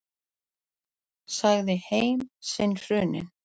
Sagði heim sinn hruninn.